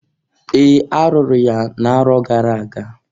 Ee! Arụrụ ya na-arọ gara aga.